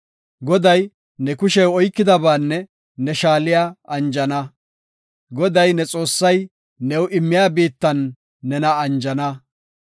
Goday ne kushey oykiyabaanne ne shaaliya anjana; Goday, ne Xoossay new immiya biittan nena anjana.